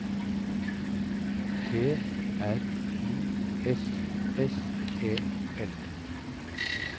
T R U S S E L